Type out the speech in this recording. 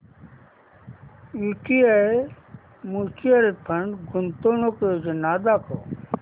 UTI mutual fund गुंतवणूक योजना दाखव